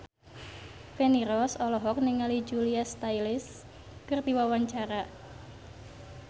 Feni Rose olohok ningali Julia Stiles keur diwawancara